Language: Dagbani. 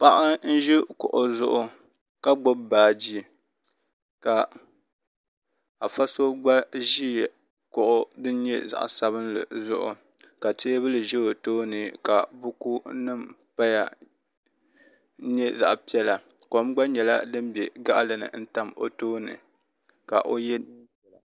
Paɣa n ʒi kuɣu zuɣu ka gbibi baaji afa so gba ʒi kuɣu din nyɛ zaɣa sabinli zuɣu teebuli ʒɛ o tooni ka buku nima paya n nyɛ zaɣa piɛla kom gba bela gaɣalini n tam o tooni ka o ye niɛn'piɛla.